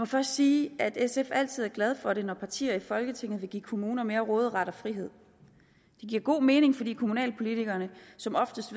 først sige at sf altid glæder sig over det når partier i folketinget vil give kommuner mere råderet og frihed det giver god mening fordi kommunalpolitikerne som oftest